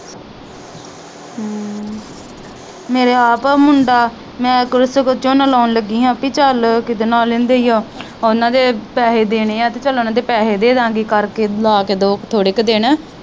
ਮੇਰੇ ਆਪ ਮੁੰਡਾ ਮੈ ਕੁੜੇ ਸਗੋਂ ਝੋਨਾ ਲਾਉਣ ਲੱਗੀ ਹਾ ਪੀ ਚਲ ਕਿਦਾ ਨਾ ਲੈਂਦੇ ਈਓ ਉਹਨਾਂ ਦੇ ਪੈਸੇ ਦੇਣੇ ਆ ਤੇ ਚਲ ਉਹਨਾਂ ਦੇ ਪੈਸੇ ਦੇਦਾਗੇ ਕਰਕੇ ਲਾ ਕੇ ਦੋ ਕਾ ਥੋੜੇ ਕਾ ਦਿਨ।